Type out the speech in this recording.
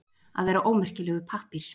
Að vera ómerkilegur pappír